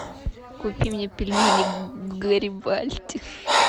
купи мне пельмени гарибальди